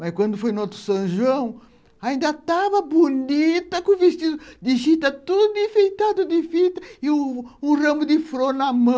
Mas quando foi no outro São João, ainda estava bonita, com o vestido de chita tudo enfeitado de fita e o o ramo de flor na mão.